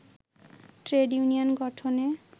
trade union গঠনে